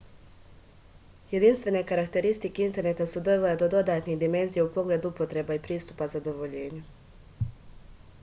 jedinstvene karakteristike interneta su dovele do dodatnih dimenzija u pogledu upotreba i pristupa zadovoljenju